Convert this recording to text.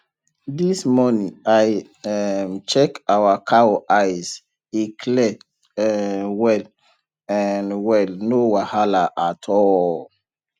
this morning i um check our cow eye e clear um well um well no wahala at all